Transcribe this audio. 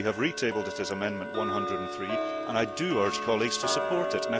We have retabled it as Amendment 103, and I do urge colleagues to support it.